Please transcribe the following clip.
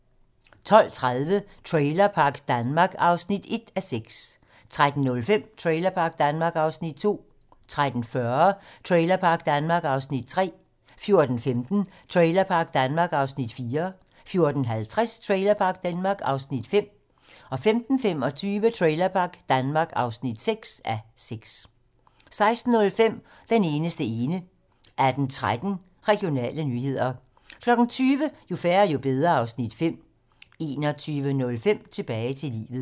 12:30: Trailerpark Danmark (1:6) 13:05: Trailerpark Danmark (2:6) 13:40: Trailerpark Danmark (3:6) 14:15: Trailerpark Danmark (4:6) 14:50: Trailerpark Danmark (5:6) 15:25: Trailerpark Danmark (6:6) 16:05: Den eneste ene 18:13: Regionale nyheder 20:00: Jo færre, jo bedre (Afs. 5) 21:05: Tilbage til livet